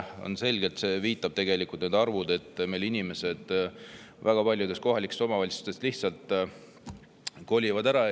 Need arvud viitavad selgelt, et inimesed kolivad väga paljudest kohalikest omavalitsustest ära.